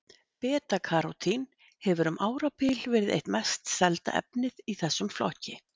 Beta-karótín hefur um árabil verið eitt mest selda efnið í þessum flokki.